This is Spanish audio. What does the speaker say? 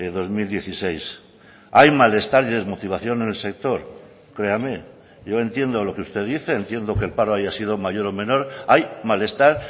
dos mil dieciséis hay malestar y desmotivación en el sector créame yo entiendo lo que usted dice entiendo que el paro haya sido mayor o menor hay malestar